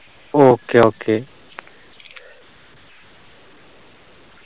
okay okay